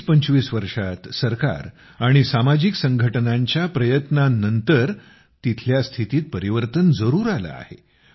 गेल्या वीस पंचवीस वर्षात सरकार आणि सामाजिक संघटनांच्या प्रयत्नांनंतरही तेथील स्थितीत परिवर्तन जरूर आलं आहे